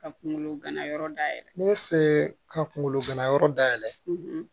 Ka kunkolo ganayɔrɔ da yɛlɛ ne fɛ ka kunkolo ganayɔrɔ dayɛlɛ